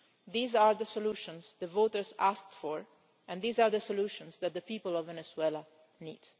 These are the solutions the voters asked for, and these are the solutions that the people of Venezuela need.